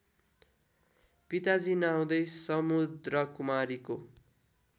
पिताजी नआउँदै समुद्रकुमारीको